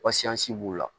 b'u la